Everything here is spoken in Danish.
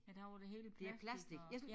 I dag er det hele plastic og